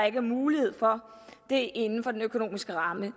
ikke er mulighed for det inden for den økonomiske ramme